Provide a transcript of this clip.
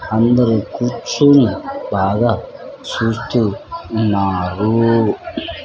అందరూ కూర్చుని బాగా చూస్తూ ఉన్నారు.